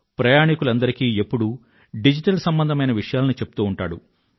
ప్రయాణికులందరికీ ఎప్పుడూ డిజిటల్ సంబంధమైన విషయాలను చెప్తూ ఉంటాడు